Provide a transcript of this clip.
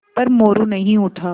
पर मोरू नहीं उठा